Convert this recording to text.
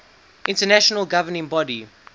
international governing body